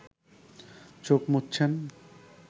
চোখ মুচছেন